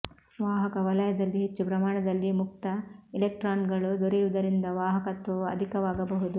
ವಾಹಕ ವಲಯದಲ್ಲಿ ಹೆಚ್ಚು ಪ್ರಮಾಣದಲ್ಲಿ ಮುಕ್ತ ಇಲೆಕ್ಟ್ರಾನ್ಗಳು ದೊರೆಯುವುದರಿಂದ ವಾಹಕತ್ವವು ಅಧಿಕವಾಗಬಹುದು